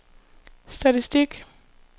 statistik